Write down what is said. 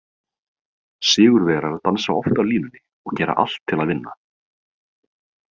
Sigurvegarar dansa oft á línunni og gera allt til að vinna.